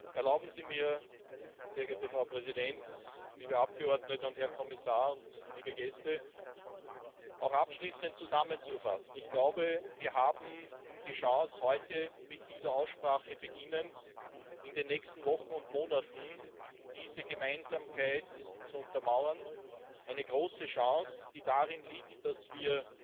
Erlauben Sie mir, sehr geehrte Frau Präsidentin, liebe Abgeordnete und Herr Kommissar und liebe Gäste, abschließend zusammenzufassen Ich glaube, wir haben die Chance, beginnend mit dieser Aussprache in den nächsten Wochen und Monaten die Gemeinsamkeit zu untermauern eine große Chance, die darin liegt, dass wir